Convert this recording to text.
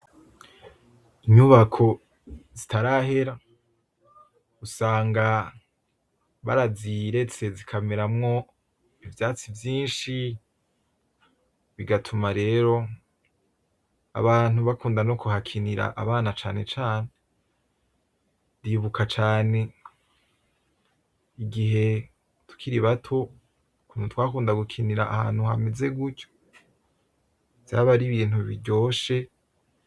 Inyubako zitarahera usanga baraziretse zikameramwo ivyatsi vyinshi, bigatuma rero Abantu bakunda no kuhakinira abana cane cane ndibuka cane igihe tukiri bato ukuntu twakunda gukinira ahantu hameze gutyo vyaba ari Ibintu biryoshe.